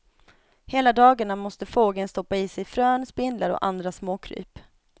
Hela dagarna måste fågeln stoppa i sig frön, spindlar och andra småkryp.